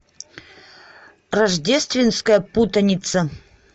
рождественская путаница